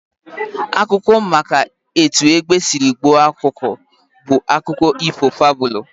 Akụkọ maka etu egbe sịrị gbuo ọkụkọ bụ akụkọ ifo fabụlu